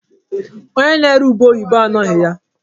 Onye na-ere ube oyibo anọghị ya.